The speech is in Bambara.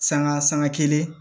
Sanga sanga kelen